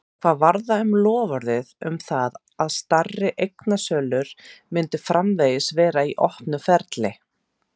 Hvað varð um loforðið um það að stærri eignasölur myndu framvegis vera í opnu ferli?